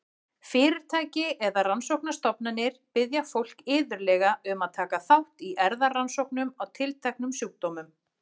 Fyrirtæki eða rannsóknastofnanir biðja fólk iðulega um að taka þátt í erfðarannsóknum á tilteknum sjúkdómum.